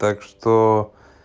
так что